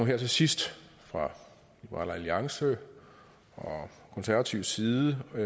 her til sidst fra liberal alliances og konservatives side det